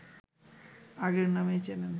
আগের নামেই চেনেন